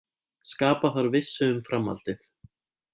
Skapa þarf vissu um framhaldið